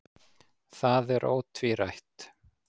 Það er ótvírætt.